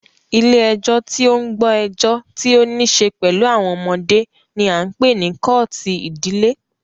Ilé ẹjọ́ tí o ń gbọ́ ẹjọ́ tí o níṣe pẹlú àwọn ọmọdé ní a ń pé ní kọ́ọ̀tù ìdílé.